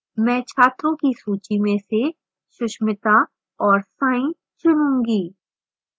मैं छात्रों की सूची में से susmitha और sai चुनूंगी